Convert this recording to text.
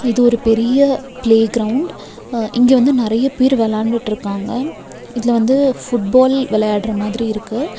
இது ஒரு பெரிய ப்ளே க்ரௌண்ட் ஆ இங்க வந்து நெறய பேர் வெளாண்டுட்ருக்காங்க இதுல வந்து ஃபுட்பால் வெளயாடற மாதிரி இருக்கு.